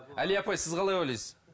алия апай сіз қалай ойлайсыз